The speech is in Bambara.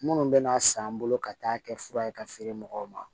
Minnu bɛna san bolo ka taa kɛ fura ye ka feere mɔgɔw ma